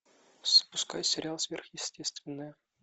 запускай сериал сверхъестественное